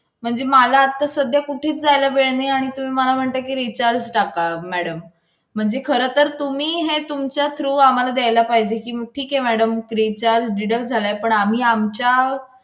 एवढं सांगूनच आम्ही दिलेले आहे ते जा बायका आहेत ना भाडे कामाला जातात ना त्यांना हे सगळं सांगून केलेला आहे.